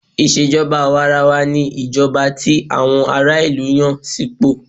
Ìṣèjọba àwàrawa ní ìjọba tí àwọn ará ìlú Yàn sí ipò.